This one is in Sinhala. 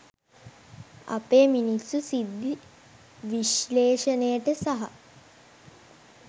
අපේ මිනිස්සු සිද්ධි විශ්ලේශනයට සහ